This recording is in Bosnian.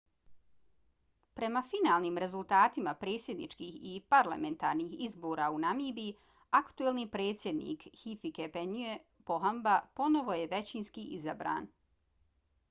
prema finalnim rezultatima predsjedničkih i parlamentarnih izbora u namibiji aktuelni predsjednik hifikepunye pohamba ponovo je većinski izabran